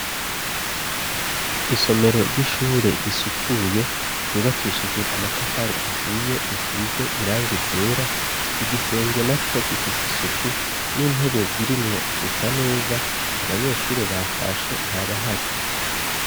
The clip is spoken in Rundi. isomero ry'ishure risukuye ryubakishijwe amatafari ahiye, risize irangi ryera, igisenge naco gifise isuku n'intebe zirimwo zisa neza, abanyeshure batashe ntabahari.